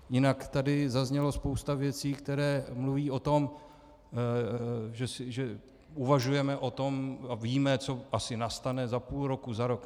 Jinak tady zazněla spousta věcí, které mluví o tom, že uvažujeme o tom a víme, co asi nastane za půl roku, za rok.